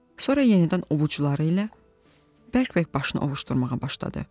Sonra yenidən ovuçları ilə bərk-bərk başını ovuşdurmağa başladı.